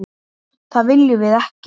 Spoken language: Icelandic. Það viljum við ekki.